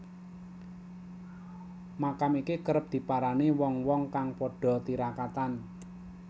Makam iki kerep diparani wong wong kang padha tirakatan